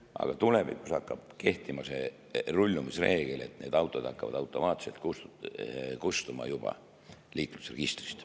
Aga tulevikus hakkab kehtima rullumisreegel, need autod hakkavad juba automaatselt kustuma liiklusregistrist.